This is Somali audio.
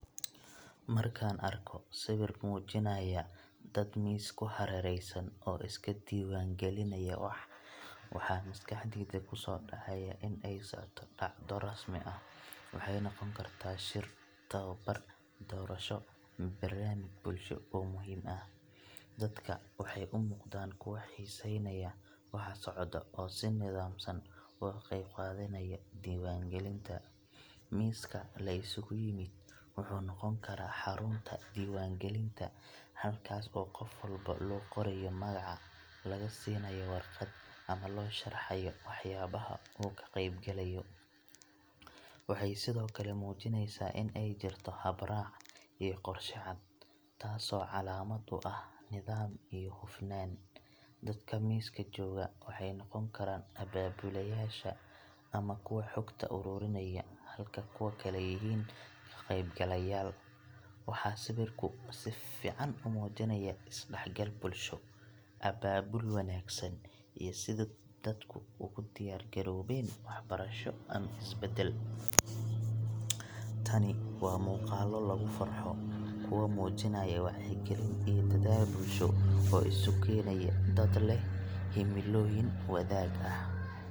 Markaan arko sawirkan oo muujinaya dad miis ku hareeraysan oo iska diiwaan gelinaya wax, waxaa maskaxdayda ku soo dhacaya in ay socoto dhacdo rasmi ah waxay noqon kartaa shir, tababar, doorasho, ama barnaamij bulsho oo muhiim ah. Dadka waxay u muuqdaan kuwo xiisaynaya waxa socda, oo si nidaamsan uga qaybqaadanaya diiwaangelinta. Miiska la isugu yimid wuxuu noqon karaa xarunta diiwaangelinta halkaas oo qof walba loo qorayo magaca, laga siinayo warqad, ama loo sharxayo waxyaabaha uu ka qaybgalayo. Waxay sidoo kale muujinaysaa in ay jirto hab-raac iyo qorshe cad, taasoo calaamad u ah nidaam iyo hufnaan. Dadka miiska jooga waxay noqon karaan abaabulayaasha ama kuwa xogta ururinaya, halka kuwa kale yihiin ka-qaybgalayaal. Waxaa sawirku si fiican u muujinayaa is-dhexgal bulsho, abaabul wanaagsan, iyo sida dadku ugu diyaar garoobeen waxbarasho ama isbedel. Tani waa muuqaallo lagu farxo kuwa muujinaya wacyigelin iyo dadaal bulsho oo isu keenaya dad leh himilooyin wadaag ah.